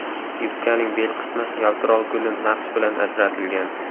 Yubkaning bel qismi yaltiroq gulli naqsh bilan ajratilgan.